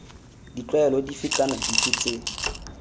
ditlwaelo dife kana dife tse